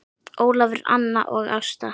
Ólafur, Anna og Ásta.